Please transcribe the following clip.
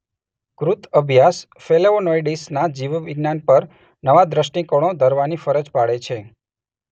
કૃત અભ્યાસ ફલેવોનોઈડ્સના જીવવિજ્ઞાન પર નવા દષ્ટિકોણો ધરવાની ફરજ પાડે છે.